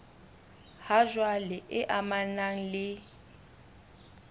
ha jwale e amanang le